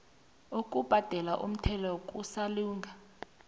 ukubhadelwa komthelo kasolanga